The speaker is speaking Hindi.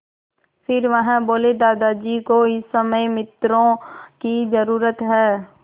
फिर वह बोले दादाजी को इस समय मित्रों की ज़रूरत है